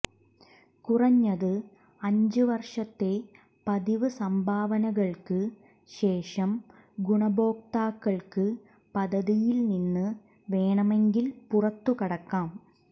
കുറഞ്ഞത് അഞ്ച് വർഷത്തെ പതിവ് സംഭാവനകൾക്ക് ശേഷം ഗുണഭോക്താക്കൾക്ക് പദ്ധതിയിൽ നിന്ന് വേണമെങ്കിൽ പുറത്തുകടക്കാം